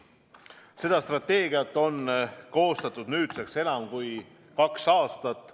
Seda strateegiat on koostatud nüüdseks enam kui kaks aastat.